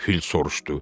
Fil soruşdu.